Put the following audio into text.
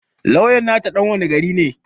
Lawyan nata ɗan wane gari ne